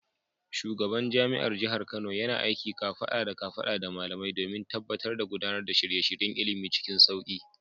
Shugaban jami’ar jihar Kano yana aiki kafada da kafada da malamai domin tabbatar da gudanar da shirye-shiryen ilimi cikin sauki.